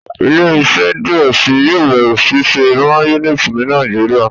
ile-iṣẹ diẹ síi yóò bẹrẹ ṣiṣe mayonnaise ní Nàìjíríà.